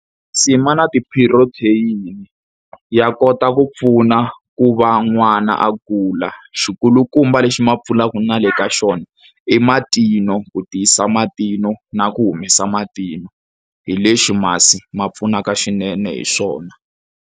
ma na ti-protein, ya kota ku pfuna ku va n'wana a kula. Xikulukumba lexi ma pfunaka na le ka xona i matinyo, ku tiyisa matinyo na ku humesa matino. Hi lexi masi ma pfunaka swinene hi swona.